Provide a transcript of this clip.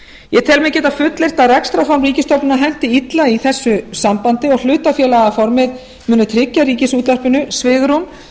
ég held mig geta fullyrt að rekstrarform ríkisstofnana henti illa í þessu sambandi og hlutafélagaformið muni tryggja ríkisútvarpinu svigrúm